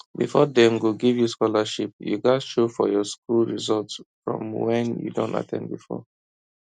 before dem go give you scholarship you gats show your school result from where you don at ten d before